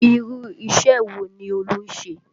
Irú isẹ wo ni Olú ń ṣe?